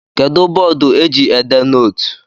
Kedụ bọọdụ eji ede nootu?